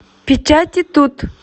печати тут